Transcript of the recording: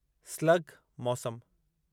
slug – मौसम